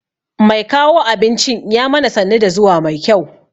Mai kawo abincin ya mana sannu da zuwa mai kyau.